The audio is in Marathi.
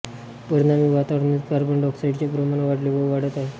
परिणामी वातावरणातील कार्बन डायॉक्साईडचे प्रमाण वाढले व वाढत आहे